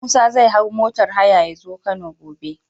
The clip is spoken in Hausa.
Musa zai hau motar haya yazo kano gobe